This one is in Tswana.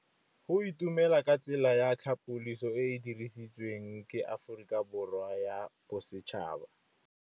Go itumela ke tsela ya tlhapolisô e e dirisitsweng ke Aforika Borwa ya Bosetšhaba.